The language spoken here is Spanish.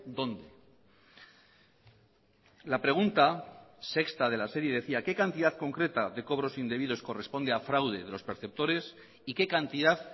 donde la pregunta sexta de la serie decía qué cantidad concreta de cobros indebidos corresponde a fraude de los perceptores y qué cantidad